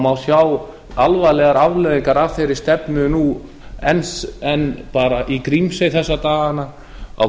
má sjá alvarlegar afleiðingar af þeirri stefnu nú enn í grímsey þessa dagana á